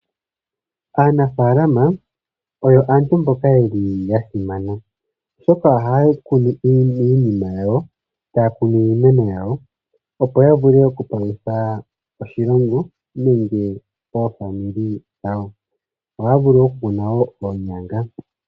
Aanafalama oyo aantu mboka yeli ya simana, oshoka ohaya kunu iinima yawo, taya kunu iimeno yawo, opo ya vule oku palutha oshilongo nenge oofamili dhawo. Ohaya vulu wo oku kuna oonyanga.